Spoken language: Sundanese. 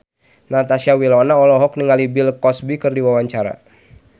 Natasha Wilona olohok ningali Bill Cosby keur diwawancara